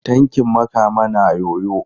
Tankin Makama naa yoyo.